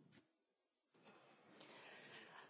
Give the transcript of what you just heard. Elnök